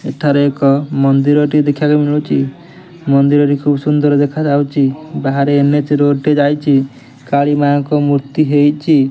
ଏଠାରେ ଏକ ମନ୍ଦିର ଟି ଦେଖିବାକୁ ମିଳୁଚି ମନ୍ଦିର ଟି ଖୁବ୍ ସୁନ୍ଦର ଦେଖାଯାଉଚି ବାହାରେ ଏନେଚ୍ ରୋଡ଼ ଯାଇଚି କାଳି ମାଙ୍କ ମୁର୍ତ୍ତି ହେଇଚି।